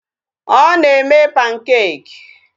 Ọ na-eme pancakes.